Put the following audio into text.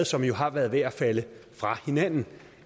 som har været ved at falde fra hinanden